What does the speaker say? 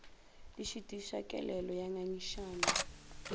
di šitiša kelelo ya ngangišano